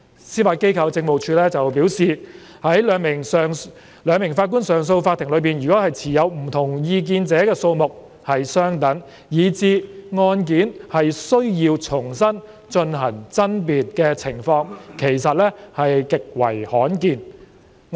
司法機構政務處表示，在兩名法官上訴法庭中持不同意見者的數目相等，以致案件須重新進行爭辯的情況極為罕見。